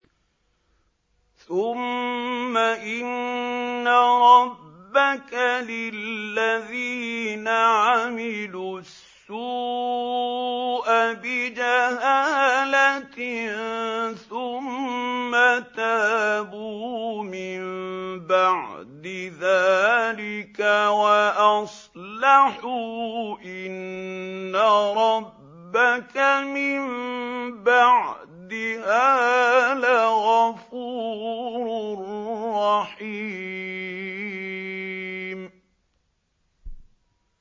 ثُمَّ إِنَّ رَبَّكَ لِلَّذِينَ عَمِلُوا السُّوءَ بِجَهَالَةٍ ثُمَّ تَابُوا مِن بَعْدِ ذَٰلِكَ وَأَصْلَحُوا إِنَّ رَبَّكَ مِن بَعْدِهَا لَغَفُورٌ رَّحِيمٌ